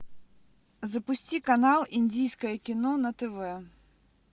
запусти канал индийское кино на тв